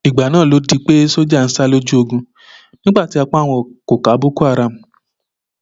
ìgbà náà ló di pé sójà ń sá lójú ogun nígbà tí apá wọn kò ká boko haram